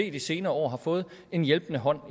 i de senere år har fået en hjælpende hånd